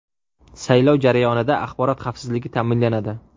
Saylov jarayonida axborot xavfsizligi ta’minlanadi.